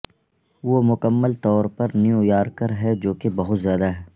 وہ مکمل طور پر نیویارکر ہے جو کہ بہت زیادہ ہے